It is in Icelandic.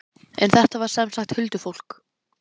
En þetta var sem sagt huldufólk.